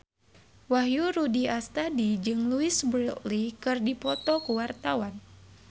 Wahyu Rudi Astadi jeung Louise Brealey keur dipoto ku wartawan